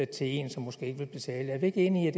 til en som måske ikke vil betale er vi ikke enige